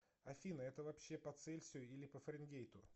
афина это вообще по цельсию или по фаренгейту